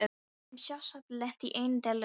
Við erum sjálfsagt lent í einni dellunni enn.